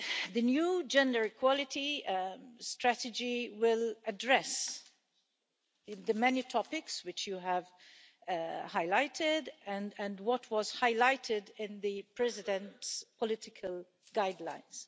The new Gender Equality Strategy will address the many topics which you have highlighted and what was highlighted in the President's political guidelines.